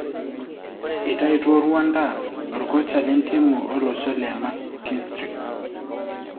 Eitaitwo Rwanda orkocha lentimu olosho le Mckinstry.